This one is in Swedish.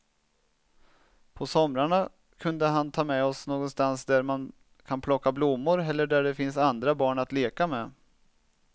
På somrarna kunde han ta med oss någonstans där man kan plocka blommor eller där det finns andra barn att leka med.